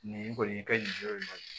Nin kɔni i ka nin yɔrɔ in maɲi